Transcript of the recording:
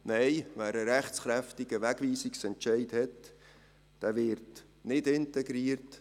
Nein, wer einen rechtskräftigen Wegweisungsentscheid hat, wird nicht integriert.